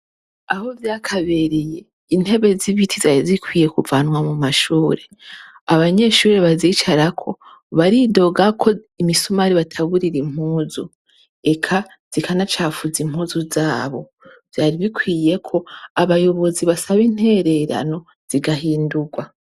Aho vyakabereye intebe z'ibiti zari zikwiye kuvanwa mu mashure, abanyeshure bazicarako baridogako imisumari ibataburira impuzu eka zikanacafuza impuzu zabo, vyari bikwiyeko abayobozi basaba intererano zigahindugwa.